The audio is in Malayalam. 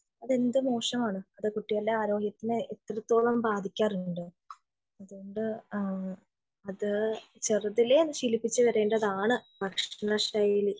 അത് എന്ത് മോശമാണ് അത് കുട്ടികളുടെ ആരോഗ്യത്തിന് ഇത്രത്തോളം ബാധിക്കാറുണ്ടോ അതുകൊണ്ട് അത് ചെറുതിലെ ശീലിപ്പിച്ചു വരേണ്ടതാണ് ഭക്ഷണ ശൈലി